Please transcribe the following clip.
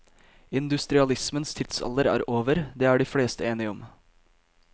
Industrialismens tidsalder er over, det er de fleste enige om.